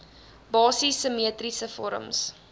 basiese simmetriese vorms